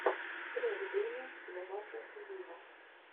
трек деми ловато виво